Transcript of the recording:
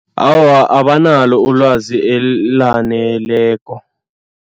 Awa, abanalo ulwazi elaneleko.